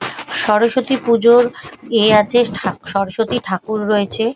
সরস্বতী পূজোর ইয়ে আছে ঠাক সরস্বতী ঠাকুর রয়েছে ।